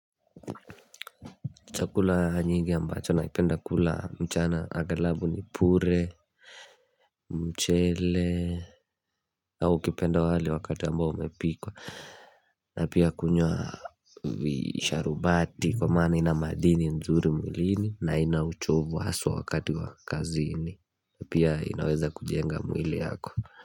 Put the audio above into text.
Chakula nyingi ambacho naipenda kula mchana agalabu ni pure mchele au kipenda wali wakati ambao umepikwa na pia kunywa visharubati kwa maana ina madini nzuri mwilini na ina uchovu haswa wakati wa kazini na pia inaweza kujenga mwili yako.